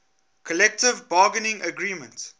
collective bargaining agreement